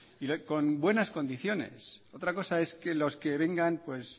y con buenas condiciones otra cosa es que los que vengan